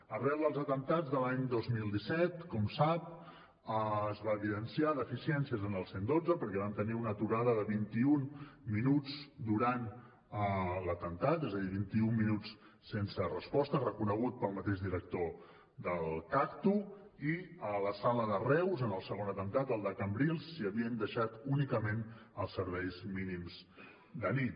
arran dels atemptats de l’any dos mil disset com sap es van evidenciar deficiències en el cent i dotze perquè vam tenir una aturada de vint i un minuts durant l’atemptat és a dir vint i un minuts sense resposta reconegut pel mateix director del cagtu i a la sala de reus en el segon atemptat el de cambrils s’hi havien deixat únicament els serveis mínims de nit